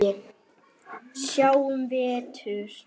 Sjáum vestur.